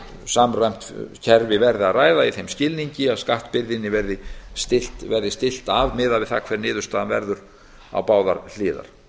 samræmt kerfi verði að ræða í þeim skilningi að skattbyrðin verði stillt af miðað við það hver niðurstaðan verður á báðar hliðar